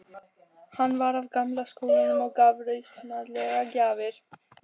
Hann var af gamla skólanum og gaf rausnarlegar gjafir.